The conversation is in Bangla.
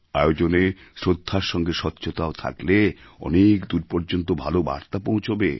আয়োজনে শ্রদ্ধার সঙ্গে স্বচ্ছতাও থাকলে অনেক দূর পর্যন্ত ভালো বার্তা পৌঁছবে